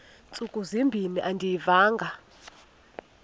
ntsuku zimbin andiyivanga